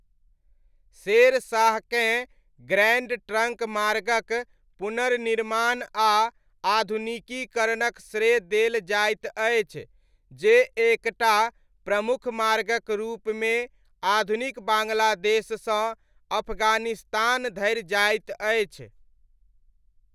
शेर शाहकेँ Grand Trunk मार्गक पुनर्निर्माण आ आधुनिकीकरणक श्रेय देल जाइत अछि जे एक टा प्रमुख मार्गक रूपमे आधुनिक बाङ्ग्लादेशसँ अफगानिस्तान धरि जाइत अछि।